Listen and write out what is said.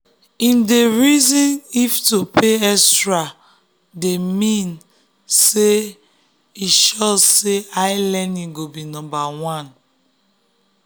him dey reason if to pay extra dey mean dey mean say e sure say ilearning go be number 1